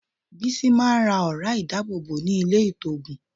Bísí máa ń ra ọ̀ra ìdábòbò ní ilé-ìtoògùn.